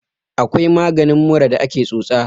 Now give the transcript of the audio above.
akwai maganin mura da ake tsotsa